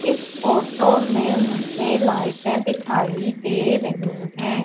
इस फोटो में मुझे लाइटे दिखाई दे रही है।